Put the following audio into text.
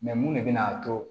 mun de bɛ na to